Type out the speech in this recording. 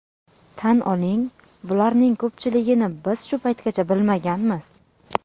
Tan oling, bularning ko‘pchiligini biz shu paytgacha bilmaganmiz.